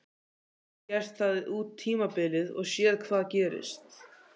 Gæti hann gert það út tímabilið og séð hvað gerist?